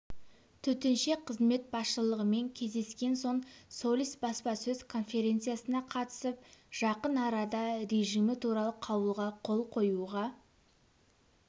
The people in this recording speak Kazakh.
төтенше қызмет басшылығымен кездескен соң солис баспасөз конференциясына қатысып жақын арада режимі туралы қаулыға қол қоюға